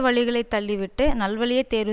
வழிகளைத் தள்ளிவிட்டு நல் வழியை தேர்வு